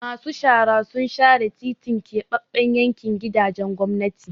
Masu shara sun share titin Keɓaɓɓen yankin gidajen gwamnati.